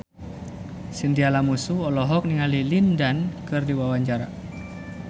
Chintya Lamusu olohok ningali Lin Dan keur diwawancara